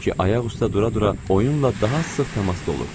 Çünki ayaq üstə dura-dura oyunla daha sıx təmasda olurdular.